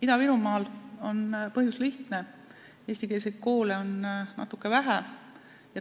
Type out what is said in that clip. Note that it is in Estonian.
Ida-Virumaal on põhjus lihtne: eestikeelseid koole on natuke vähe.